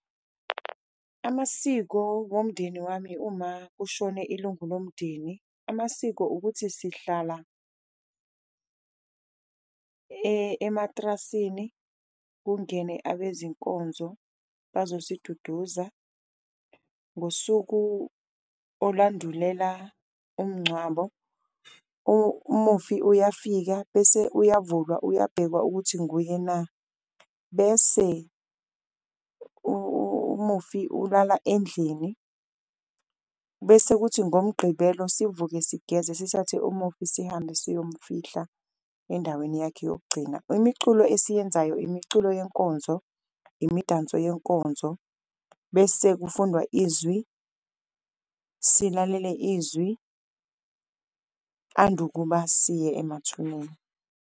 Amasiko womndeni wami uma kushone ilungu lomndeni amasiko ukuthi sihlala ematrasini, kungene abezinkonzo bazosiduduza ngosuku olwandulela umncwabo. Umufi uyafika bese uyavulwa, uyabhekwa ukuthi nguye na, bese umufi ulala endlini, bese kuthi ngomgqibelo sivuke sigeza sithathe umufi sihambe siyomufihla endaweni yakhe yokugcina. Imiculo esiyenzayo imiculo yenkonzo, imidanso nenkonzo bese kufundwa izwi, silalele izwi andukuba siye emathuneni.